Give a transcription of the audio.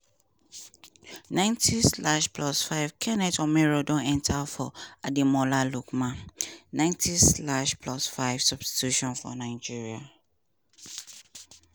ninety slash plus five kenneth omeruo don enta for ademola lookman ninety slash plus five substitution for nigeria.